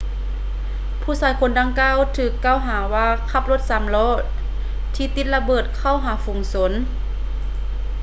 ຜູ້ຊາຍຄົນດັ່ງກ່າວຖືກກ່າວຫາວ່າຂັບລົດສາມລໍ້ທີ່ຕິດລະເບີດເຂົ້າຫາຝູງຊົນ